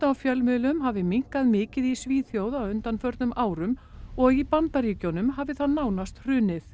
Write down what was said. á fjölmiðlum hafi minnkað mikið í Svíþjóð á undanförnum árum og í Bandaríkjunum hafi það nánast hrunið